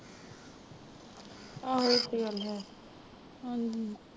ਆਹੋ ਇਹ ਤੇ ਗੱਲ ਹੈ ਹਾਂਜੀ।